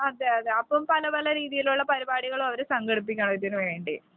അതെ അതെ അപ്പോൾ പല പല രീതിയിലുള്ള പരിപാടികളും അവര് സംഘടിപ്പിക്കും ഇതിനു വേണ്ടി .